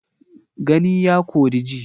Gani ya kori ji.